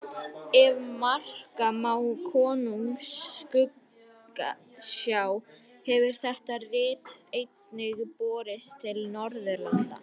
Ef marka má Konungs skuggsjá hefur þetta rit einnig borist til Norðurlanda.